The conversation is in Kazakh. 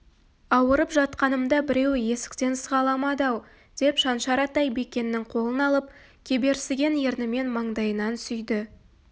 ауырып жатқанымда біреуі есіктен сығаламады-ау деп шаншар атай бекеннің қолын алып кеберсіген ернімен маңдайынан сүйді